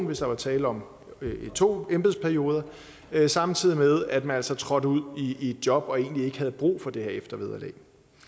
hvis der var tale om to embedsperioder samtidig med at man altså trådte ud i et job og egentlig ikke havde brug for det her eftervederlag